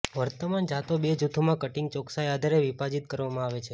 વર્તમાન જાતો બે જૂથોમાં કટીંગ ચોકસાઇ આધારે વિભાજિત કરવામાં આવે છે